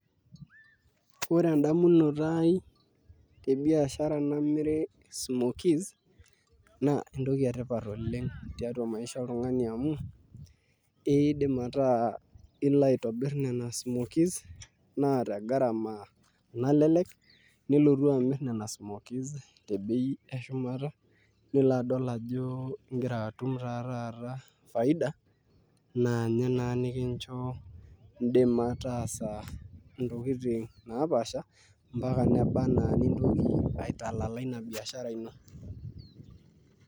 Ore edamunoto ai tebiashara namiri smokies, naa entoki etipat oleng tiatua maisha oltung'ani amu, idim ataa ilo aitobir nena smokies, naa te garama nalelek, nilotu amir nena smokies tebei eshumata, nilo adol ajo igira atum taa taata faida, naanye naa nikincho dima taasa ntokiting napaasha, mpaka neba enaa nintoki aitalala ina biashara ino.